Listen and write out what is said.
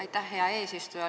Aitäh, hea eesistuja!